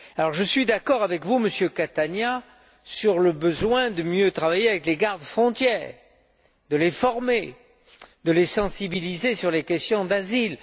Je suis d'accord avec vous, Monsieur Catania, sur le besoin de mieux travailler avec les gardes frontières, de les former et de les sensibiliser sur les questions d'asile.